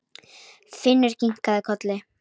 Finnur kinkaði kolli.